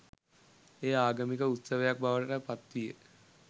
එය ආගමික උත්සවයක් බවට පත් විය.